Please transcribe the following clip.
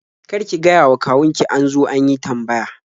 Kar ki gayawa kawun ki an zo an yi tambaya.